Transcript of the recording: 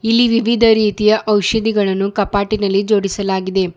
ಇಲ್ಲಿ ವಿವಿಧ ರೀತಿಯ ಔಷಧಿಗಳನ್ನು ಕಪಾಟಿನಲ್ಲಿ ಜೋಡಿಸಲಾಗಿದೆ.